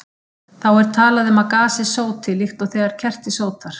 Þá er talað um að gasið sóti, líkt og þegar kerti sótar.